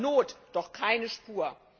Von Not doch keine Spur!